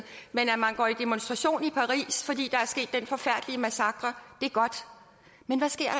man går i demonstration fordi der skete den forfærdelige massakre men hvad sker